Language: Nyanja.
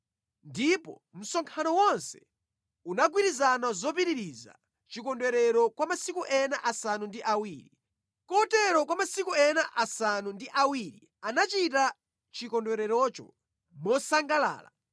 Ndipo msonkhano wonse unagwirizana zopitiriza chikondwerero kwa masiku ena asanu ndi awiri. Kotero kwa masiku ena asanu ndi awiri anachita chikondwererocho mosangalala.